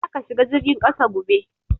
Za ka shiga jirgin kasa gobe!